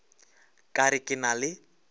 ka re ke na le